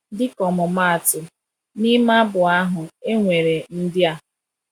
Dịka ọmụmaatụ, n’ime abụ ahụ, e nwere ndị a